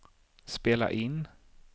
spela in